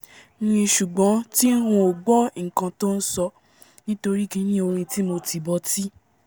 mi ṣùgbọ́n tí ng kò gbọ́ nkan tó nsọ nítorí kiní orin tí mo tì bọ'tí